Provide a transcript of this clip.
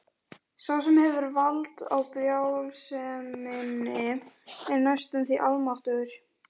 Sá sem hefur vald á brjálseminni er næstum því almáttugur.